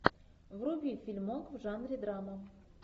вруби фильмок в жанре драма